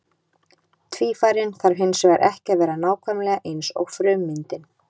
Tvífarinn þarf hins vegar ekki að vera nákvæmlega eins og frummyndin.